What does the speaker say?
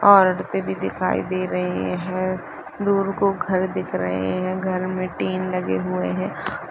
औरतें भी दिखाई दे रही है दूर गो घर दिखाई दे रहै है लोगों में टीवी लगे हुए है।